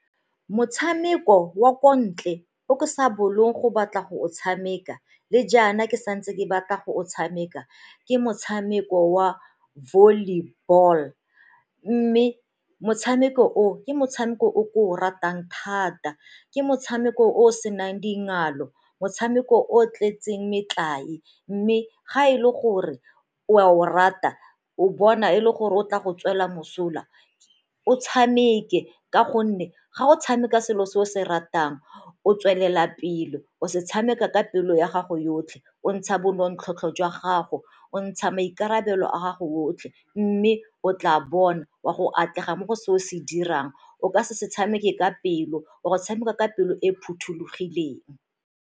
Motshameko wa k ntle o ke sa bolong go batla go o tshameka le jaana ke santse ke batla go o tshameka ke motshameko wa volleyball, mme motshameko o ke motshameko o ke o ratang thata, ke motshameko o o senang dingalo motshameko o tletseng metlae. Mme ga e le gore o a o rata, o bona e le gore o tla go tswela mosola o tshameke ka gonne ga o tshameka selo se o se ratang o tswelela pele, o se tshameka ka pelo ya gago yotlhe o ntsha bo nonontlhotlho jwa gago, o ntsha maikarabelo a gago otlhe, mme o tla bona o a go atlega mo go se o se dirang o ka se se tshameke ka pelo, o a go tshameka ka pelo e e phothulogileng.